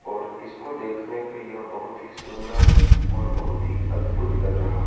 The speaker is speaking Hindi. और इसको देखने पे यह बहुत ही सुंदर और बहुत ही अद्भुत लग रहा है।